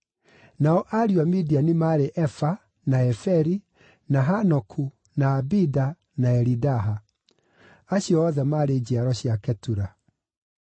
Nao ariũ a Midiani maarĩ Efa, na Eferi, na Hanoku, na Abida na Elidaha. Acio othe maarĩ njiaro cia Ketura.